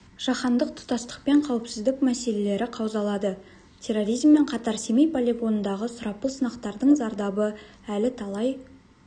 жаһандық тұтастық пен қауіпсіздік мәселелері қаузалады терроризммен қатар сеймей полигонындағы сұрапыл сынақтардың зардабы әлі талай